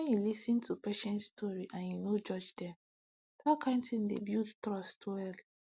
wen you lis ten to patients story and you no judge them that kind thing dey build trust well